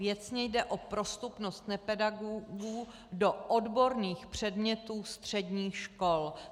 Věcně jde o prostupnost nepedagogů do odborných předmětů středních škol.